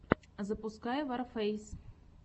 запускай варфэйс